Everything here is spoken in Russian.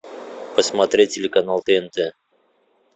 посмотреть телеканал тнт